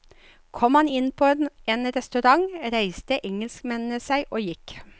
Kom han inn på en restaurant, reiste engelskmennene seg og gikk.